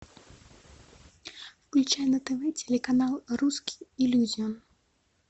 включай на тв телеканал русский иллюзион